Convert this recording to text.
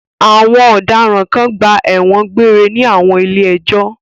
Àwọn ọ̀daràn kan gba ẹ̀wọ̀n egbére ní àwọn ilé-ẹjọ́.